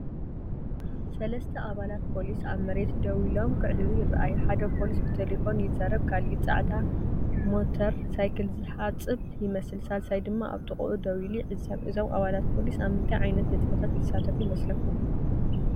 ሰለስተ ኣባላት ፖሊስ ኣብ መሬት ደው ኢሎም ክዕልሉ ይረኣዩ። ሓደ ፖሊስ ብተሌፎን ይዛረብ፡ ካልእ ጻዕዳ ሞተር ሳይክል ዝሓጽብ ይመስል፡ ሳልሳይ ድማ ኣብ ጥቓኡ ደው ኢሉ ይዕዘብ። እዞም ኣባላት ፖሊስ ኣብ ምንታይ ዓይነት ንጥፈታት ይሳተፉ ይመስለኩም?